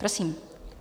Prosím.